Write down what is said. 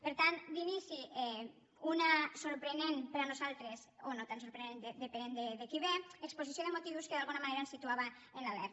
per tant d’inici una sorprenent per nosaltres o no tan sorprenent depenent de qui ve exposició de motius que d’alguna manera ens situava en l’alerta